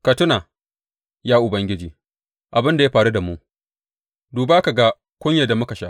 Ka tuna, ya Ubangiji, abin da ya faru da mu; duba, ka ga kunyar da muka sha.